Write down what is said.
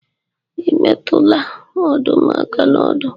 Ị metụla ọdụm aka n'ọdụ.